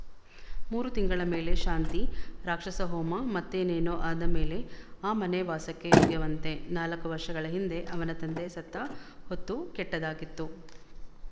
ಮೂರು ತಿಂಗಳ ಮೇಲೆ ಶಾಂತಿ ರಾಕ್ಷಸಹೋಮ ಮತ್ತೇನೇನೋ ಆದ ಮೇಲೆ ಆ ಮನೆ ವಾಸಕ್ಕೆ ಯೋಗ್ಯವಂತೆ ನಾಲ್ಕು ವರ್ಷಗಳ ಹಿಂದೆ ಅವನ ತಂದೆ ಸತ್ತ ಹೊತ್ತೂ ಕೆಟ್ಟದ್ದಾಗಿತ್ತು